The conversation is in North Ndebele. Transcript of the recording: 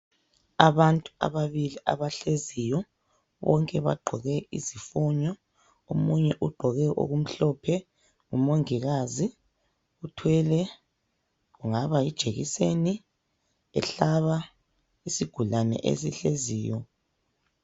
Abantu ababili abahleziyo, bonke bagqoke izifonyo. Omunye ugqoke okumhlophe ,ngumongikazi. Uthwele ,kungaba yijekiseni ehlaba isigulane esihleziyo.